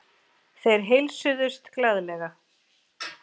Þeir heilsuðust glaðlega.